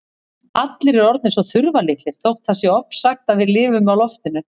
Allir eru orðnir svo þurftarlitlir þótt það sé ofsagt að við lifum á loftinu.